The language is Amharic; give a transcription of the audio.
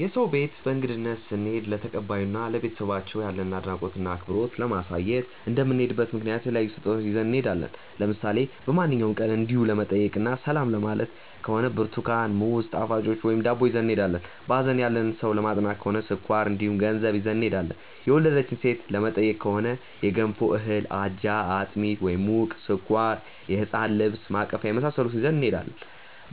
የሰው ቤት በእንግድነት ስንሄድ ለተቀባዩ እና ለቤተሰቦቻቸው ያለንን አድናቆት እና አክብሮት ለማሳየት እንደምንሄድበት ምክንያት የተለያዩ ስጦታዎችን ይዘን እንሄዳለን። ለምሳሌ በማንኛውም ቀን እንዲው ለመጠያየቅ እና ሰላም ለማየት ከሆነ ብርትኳን፣ ሙዝ፣ ጣፋጮች ወይም ዳቦ ይዘን እንሄዳለን። በሀዘን ያለን ሰው ለማፅናናት ከሆነ ስኳር እንዲሁም ገንዘብ ይዘን እንሄዳለን። የወለደች ሴትን ለመጠየቅ ከሆነ የገንፎ እህል፣ አጃ፣ አጥሚት (ሙቅ)፣ስኳር፣ የህፃን ልብስ እና ማቀፊያ የመሳሰሉትን ይዘን እንሄዳለን።